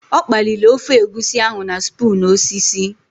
Ọ kpaliri ofe egusi ahụ na spoon osisi